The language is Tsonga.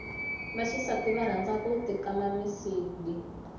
vaxisati va rhanza ku ti kama misidi